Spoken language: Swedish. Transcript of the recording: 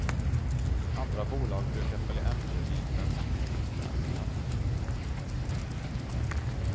Andra bolag brukar följa efter vid bensinprisförändringar.